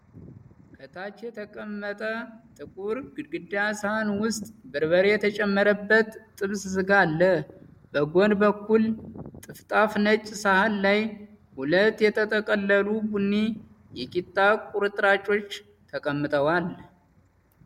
ከታች የተቀመጠ ጥቁር ጎድጓዳ ሳህን ውስጥ በርበሬ የተጨመረበት የጥብስ ስጋ አለ። በጎን በኩል ጠፍጣፋ ነጭ ሳህን ላይ ሁለት የተጠቀለሉ ቡኒ የቂጣ ቁርጥራጮች ተቀምጠዋል።